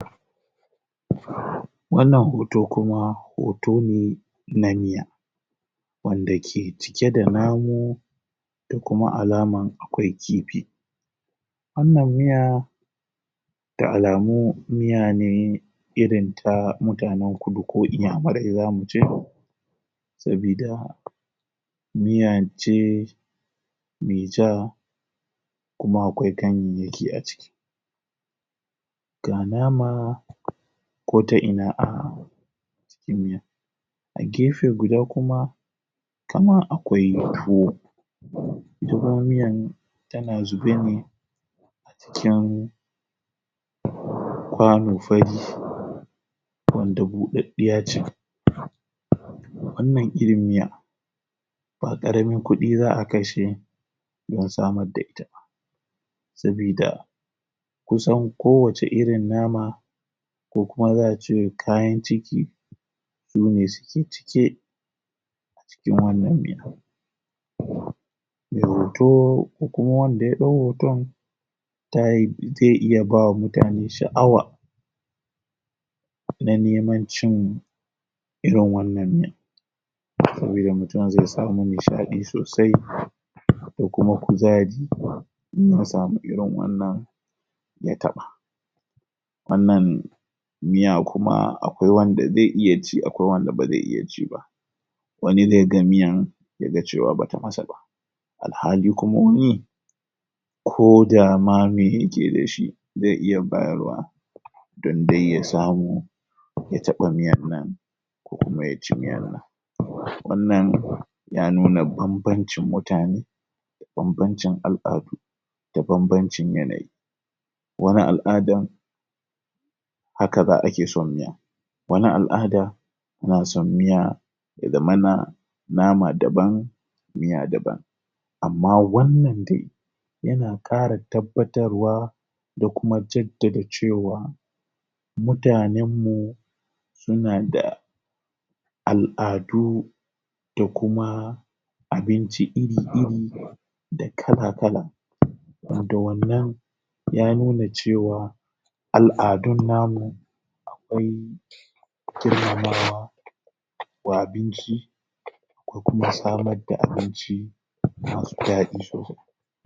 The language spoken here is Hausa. Wannan hoto kuma hoto ne na miya, wanda ke cike da namu da kuma alaman akwai kifi. Wannan miya da alamu miya ne irin ta mutanen kudu ko inyamurai za mu ce, sabida miyan ce me ja kuma akwai kanyayyaki a ciki ga nama ko ta ina a cikin miyan, a gefe guda kuma kamar akwai tuwo ita kuma miyan tana zube ne cikin kwano fari wanda buɗaɗɗiya ce wannan irin miya ba ƙaramin kuɗi za a kashe don samar da ita ba, sabida kusan kowacce irin nama ko kuma za a ce kayan ciki sune suke cike a cikin wannan miyan. Mai hoto ko kuma wanda ya ɗau hoton tayi zai iya ba wa mutane sha'awa na neman cin irin wannan miya, sabida mutum zai samu nishaɗi sosai da kuma kuzari in ya samu irin wannan ya taɓa, wannan miya kuma akwai wanda zai iya ci, akwai wanda ba zai iya ci ba, wani zai ga miyan zai ga cewa ba ta masa ba, alhali kuma wani ko dama me yake da shi zai iya bayarwa don dai ya samu ya taɓa miyan nan ko kuma ya ci miyan nan. Wannan ya nuna bambancin mutane, bambancin al'adu da banbncin yanayi, wani al'adan haka za ake son miya wani al'ada na son miya ya zamana nama daban miya daban, amma wannan dai yana ƙara tabbatarwa da kuma jaddada cewa mutanen mu suna da al'adu da kuma abinci iri-iri da kala-kala, wanda wannan ya nuna cewa al'adun namu akwai girmamawa wa abinci ko kuma samar da abinci masu daɗi.